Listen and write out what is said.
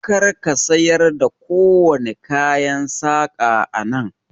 Kar ka siyar da kowane kayan saƙa a nan!